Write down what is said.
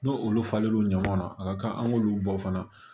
N'o olu falen l'o ɲɔgɔn na a ka kan an k'olu bɔ fana